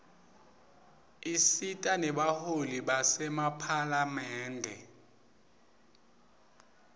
isita nebaholi basemaphalamende